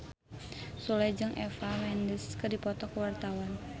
Sule jeung Eva Mendes keur dipoto ku wartawan